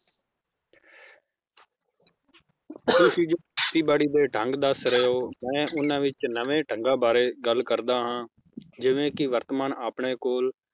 ਤੁਸੀਂ ਜਿਸ ਖੇਤੀ ਬਾੜੀ ਦੇ ਢੰਗ ਦੱਸ ਰਹੇ ਹੋ ਮੈ ਉਹਨਾਂ ਵਿਚ ਨਵੇਂ ਢੰਗਾਂ ਬਾਰੇ ਗੱਲ ਕਰਦਾ ਹਾਂ ਜਿਵੇ ਕੀ ਵਰਤਮਾਨ ਆਪਣੇ ਕੋਲ